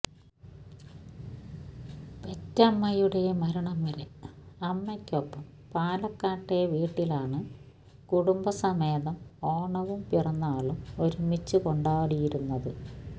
പെറ്റമ്മയുടെ മരണം വരെ അമ്മയ്ക്കൊപ്പം പാലക്കാട്ടെ വീട്ടിലാണ് കുടുംബസമേതം ഓണവും പിറന്നാളും ഒരുമിച്ച് കൊണ്ടാടിയിരുന്നത്